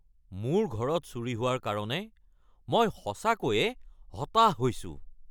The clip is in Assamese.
মোৰ ঘৰত চুৰি হোৱাৰ কাৰণে মই সঁচাকৈয়ে হতাশ হৈছোঁ। (নাগৰিক)